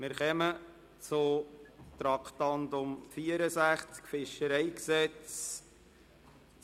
Wir kommen zum Traktandum 64, zum Fischereigesetz (FiG).